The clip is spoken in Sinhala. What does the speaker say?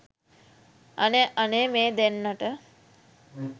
අනේ අනේ මේ දෙන්නට